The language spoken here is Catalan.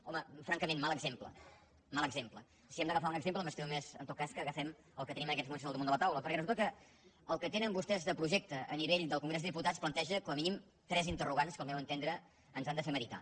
home francament mal exemple mal exemple si hem d’agafar un exemple m’estimo més en tot cas que agafem el que tenim en aquests moments al damunt de la taula perquè resulta que el que tenen vostès de projecte a nivell del congrés dels diputats planteja com a mínim tres interrogants que al meu entendre ens han de fer meditar